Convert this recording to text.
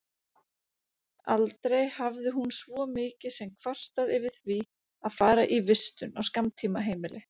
Aldrei hafði hún svo mikið sem kvartað yfir því að fara í vistun á skammtímaheimili.